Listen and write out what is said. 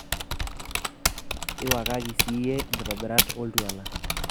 iwakaki siiyie inkitobirat oo oltwala